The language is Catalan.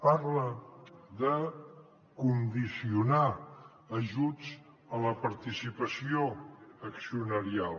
parla de condicionar ajuts a la participació accionarial